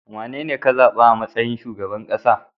Wanene ka zaba a matsayin shugaban kasa?